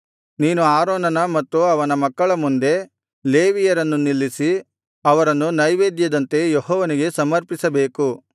ನೀನು ಆರೋನನ ಮತ್ತು ಅವನ ಮಕ್ಕಳ ಮುಂದೆ ಲೇವಿಯರನ್ನು ನಿಲ್ಲಿಸಿ ಅವರನ್ನು ನೈವೇದ್ಯದಂತೆ ಯೆಹೋವನಿಗೆ ಸಮರ್ಪಿಸಬೇಕು